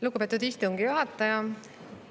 Lugupeetud istungi juhataja!